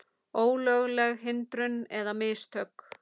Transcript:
Ólögleg hindrun eða mistök?